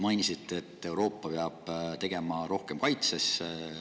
Mainisite, et Euroopa peab rohkem kaitsesse.